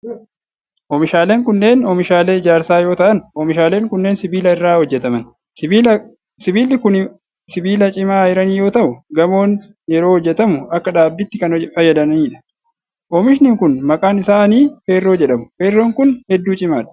Oomishaaleen kunneen oomishaalee ijaarsaa yoo ta'an, oomishaaleen kunneen sibiila irraa hojjataman. Sibiilli kun sibiila cimaa ayiranii yoo ta'u, gamoon yeroo hojjatamu akka dhaabbiitti kan fayyadanii dha. Oomishni kun, maqaan isaanii feerroo jedhamu. Feerroon kun hedduu cimaadha.